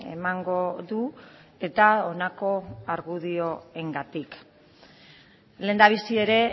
emango du eta honako argudioengatik lehendabizi ere